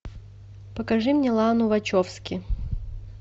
покажи мне лану вачовски